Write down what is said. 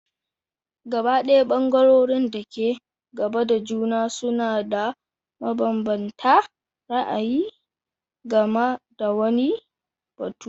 Gabaɗaya ɓangarorin da ke gaba da juna suna da mabanbanta ra'ayi game da wani batu.